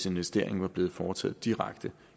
investering var blevet foretaget direkte